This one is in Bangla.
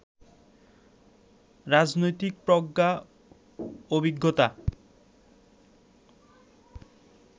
রাজনৈতিক প্রজ্ঞা, অভিজ্ঞতা,